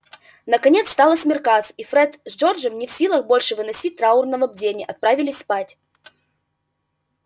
наконец стало смеркаться и фред с джорджем не в силах больше выносить траурного бдения отправились спать